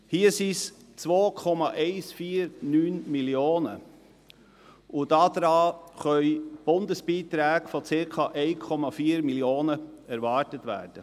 Hier sind es 2,149 Mio. Franken, und dafür können Bundesbeträge von circa 1,4 Mio. Franken erwartet werden.